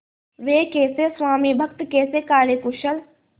वे कैसे स्वामिभक्त कैसे कार्यकुशल